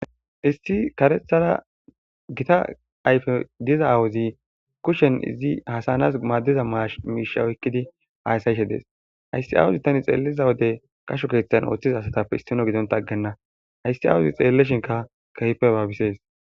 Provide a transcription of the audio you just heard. Issi karethara gita ayfe diza awuzi kushen izi hasanas maaddiza mash miishaoykkidi haayssayshe dees hayssi awuzi tani xeeliza wode qasho keeththan ooththiza asatappe issino gidonta aggenna hayssi awuzi xeelleshinka kehpe baabisees.